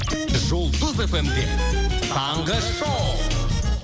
жұлдыз фм де таңғы шоу